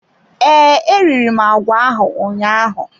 Ee, eriri m agwa ahụ ụnyaahụ.